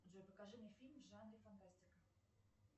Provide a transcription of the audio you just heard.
джой покажи мне фильм в жанре фантастика